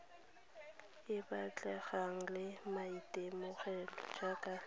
e batlegang le maitemogelo jaaka